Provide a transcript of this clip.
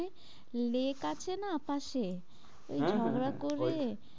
Lake আছে না পাশে হ্যাঁ, হ্যাঁ ওই ঝগড়া করে,